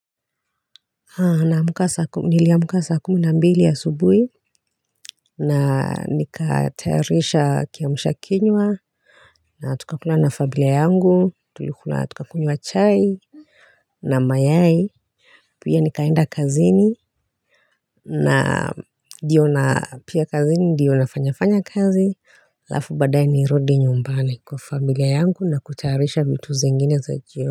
Niliamka saa kumi na mbili asubuhi na nikatayarisha kiamsha kinywa na tukakula na familia yangu. Tulikula, tukakunywa chai na mayai. Pia nikaenda kazini na ndio na pia kazini ndio nafanyafanya kazi, halafu baadaye nirudi nyumbani kwa familia yangu na kutayarisha vitu zingine za jioni.